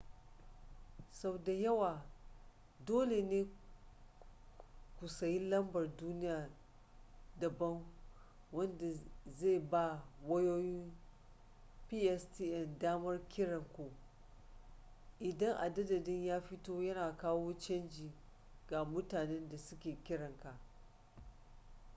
sau da yawa dole ne ku sayi lambar duniya daban wanda zai ba wayoyin pstn damar kiran ku inda adadin ya fito yana kawo canji ga mutanen da suke kiranka